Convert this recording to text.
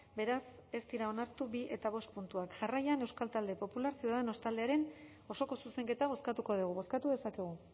beraz ez dira onartu bi eta bost puntuak jarraian euskal talde popularra ciudadanos taldearen osoko zuzenketa bozkatuko dugu bozkatu dezakegu